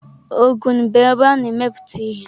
Ogun bụ ebe a na-emepụta ihe.